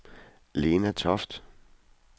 Lena Toft